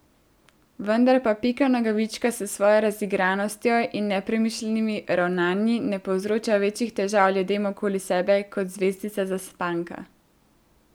Vendar pa Pika Nogavička s svojo razigranostjo in nepremišljenimi ravnanji ne povzroča večjih težav ljudem okoli sebe kot Zvezdica Zaspanka.